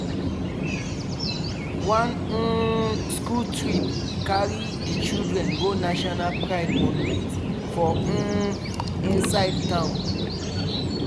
one um school trip carry di children go national pride monument for um inside town.